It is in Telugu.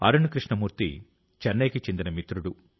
అరుణ్ కృష్ణమూర్తి చెన్నైకి చెందిన మిత్రుడు